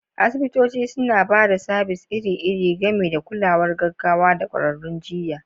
Asibitoci suna ba da sabis iri-iri, gami da kulawar gaggawa da ƙwararrun jiyya.